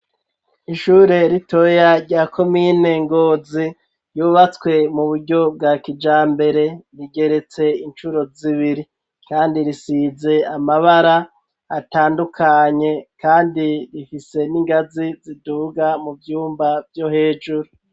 Ishure ritoya rya komine ngozi ryubatswe mu buryo bwa kijambere rigeretse incuro z'ibiri kandi risize amabara atandukanye kandi rifise n'ingazi ziduga mu vyumba vyo hejuru.